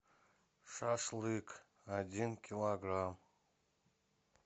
шашлык один килограмм